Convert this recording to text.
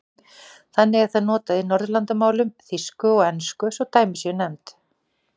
Þannig er það notað í Norðurlandamálum, þýsku og ensku svo dæmi séu nefnd.